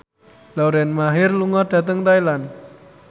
Lauren Maher lunga dhateng Thailand